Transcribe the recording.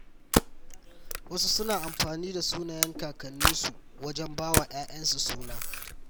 Wasu suna amfani da sunayen kakanninsu wajen ba wa ‘ya’yansu suna.